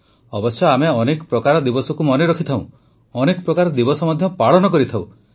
ଅବଶ୍ୟ ଆମେ ଅନେକ ପ୍ରକାର ଦିବସକୁ ମନେ ରଖିଥାଉ ଅନେକ ପ୍ରକାର ଦିବସ ପାଳନ ମଧ୍ୟ କରିଥାଉଁ